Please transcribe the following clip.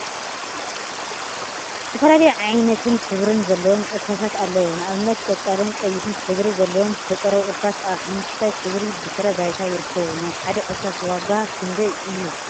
ዝተፈላለዩ ዓይነትን ሕብሪን ዘለዎም እርሳሳት አለው፡፡ ንአብነት ቆፃልን ቀይሕን ሕብሪ ዘለዎም ዝተፀረቡ እርሳሳ አብ ሓመኩሽታይ ሕብሪ ድሕረ ባይታ ይርከቡ፡፡ ናይ ሓደ እርሳስ ዋጋ ክንደይ እዩ?